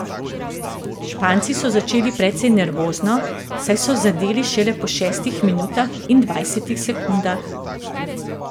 Španci so začeli precej nervozno, saj so zadeli šele po šestih minutah in dvajsetih sekundah.